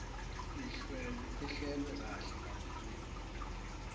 ihlelwe kahle kakhulu